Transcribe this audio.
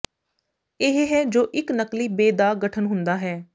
ਇਹ ਹੈ ਜੋ ਇੱਕ ਨਕਲੀ ਬੇ ਦਾ ਗਠਨ ਹੁੰਦਾ ਹੈ